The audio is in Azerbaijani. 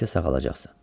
Tezliklə sağalacaqsan.